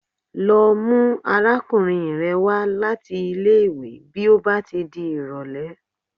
Lọ mú arákùnrin rẹ wá láti ilé ìwé bí ó bá ti di ìrọ̀lẹ́.!